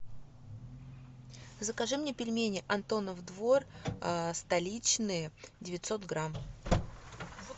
закажи мне пельмени антонов двор столичные девятьсот грамм